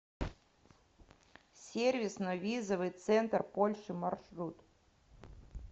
сервисно визовый центр польши маршрут